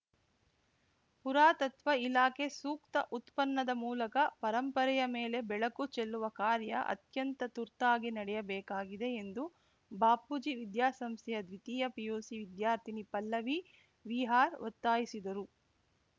ಪುರಾತತ್ವ ಇಲಾಖೆ ಸೂಕ್ತ ಉತ್ಪನ್ನದ ಮೂಲಕ ಪರಂಪರೆಯ ಮೇಲೆ ಬೆಳಕು ಚೆಲ್ಲುವ ಕಾರ್ಯ ಅತ್ಯಂತ ತುರ್ತಾಗಿ ನಡೆಯಬೇಕಾಗಿದೆ ಎಂದು ಬಾಪೂಜಿ ವಿದ್ಯಾ ಸಂಸ್ಥೆಯ ದ್ವಿತೀಯ ಪಿಯುಸಿ ವಿದ್ಯಾರ್ಥಿನಿ ಪಲ್ಲವಿ ವಿಆರ್‌ ಒತ್ತಾಯಿಸಿದರು